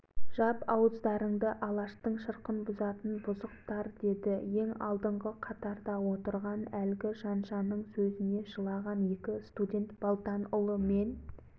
деді съезд тегіс қол көтерді ғұбайдоллалар бүктелді ғұбайдолла мен қасаболатұлы тұрып съезге және басқармаға қарап біз